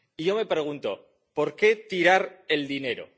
Y yo me pregunto ¿por qué tirar el dinero?